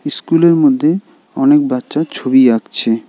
ইস্কুলের মধ্যে অনেক বাচ্চা ছবি আঁকছে।